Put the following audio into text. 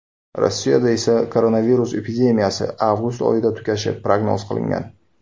Rossiyada esa koronavirus epidemiyasi avgust oyida tugashi prognoz qilingan.